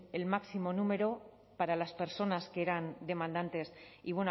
el máximo número para las personas que eran demandantes y